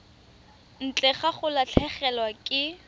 ntle ga go latlhegelwa ke